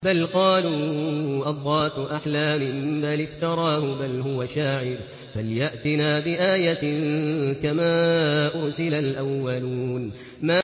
بَلْ قَالُوا أَضْغَاثُ أَحْلَامٍ بَلِ افْتَرَاهُ بَلْ هُوَ شَاعِرٌ فَلْيَأْتِنَا بِآيَةٍ كَمَا أُرْسِلَ الْأَوَّلُونَ